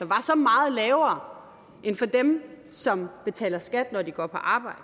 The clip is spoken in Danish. var så meget lavere end for dem som betaler skat når de går på arbejde